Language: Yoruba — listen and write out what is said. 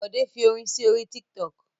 Bòdé fi orin rẹ̀ sí orí Tiktok.